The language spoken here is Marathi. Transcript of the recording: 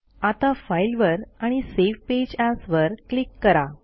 आता फाइल वर आणि सावे पेज एएस वर क्लिक करा